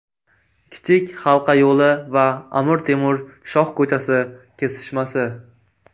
Kichik halqa yo‘li va Amir Temur shoh ko‘chasi kesishmasi.